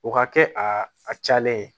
O ka kɛ a a cayalen ye